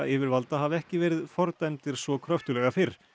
yfirvalda hafa ekki verið fordæmdir svo kröftuglega fyrr